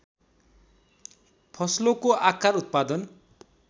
फसलोको आकार उत्पादन